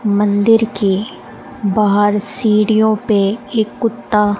मंदिर के बाहर सीढ़ियों पे एक कुत्ता--